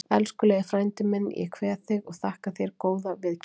Elskulegi frændi minn, ég kveð þig og þakka þér góða viðkynningu.